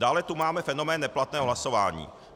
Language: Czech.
Dále tu máme fenomén neplatného hlasování.